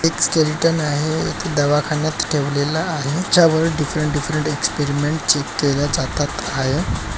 एक स्केलटेन आहे दवाखाण्यात ठेवलेला आहे तेच्या वर डिफ़्रेंट डिफरेंट एक्सपेरिमेंट केल्या जातात आहे.